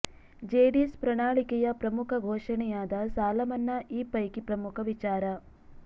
JDS ಪ್ರಣಾಳಿಕೆಯ ಪ್ರಮುಖ ಘೋಷಣೆಯಾದ ಸಾಲ ಮನ್ನಾ ಈ ಪೈಕಿ ಪ್ರಮುಖ ವಿಚಾರ